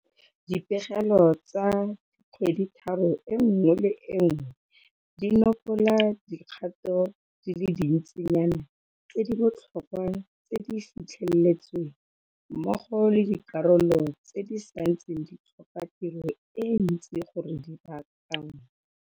Dipegelo tsa kgweditharo e nngwe le e nngwe di nopola dikgato di le dintsinyana tse di botlhokwa tse di fitlheletsweng, mmogo le dikarolo tse di santseng di tlhoka tiro e ntsi gore di baakanngwe.